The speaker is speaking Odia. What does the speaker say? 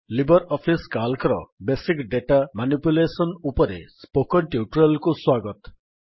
ଲିବର୍ ଅଫିସ୍ Calcର ବେସିକ୍ ଡେଟା ମାନିପ୍ୟୁଲେଶନ୍ ଉପରେ ସ୍ପୋକନ୍ ଟ୍ୟୁଟୋରିଆଲ୍ କୁ ସ୍ୱାଗତ